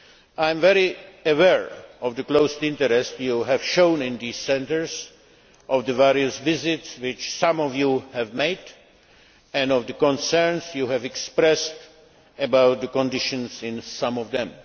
I am very aware of the close interest you have shown in these centres, of the various visits which some of you have made, and of the concerns you have expressed about the conditions in some of them.